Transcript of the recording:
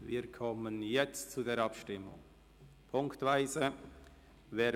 Wir kommen zur Abstimmung und stimmen ziffernweise ab.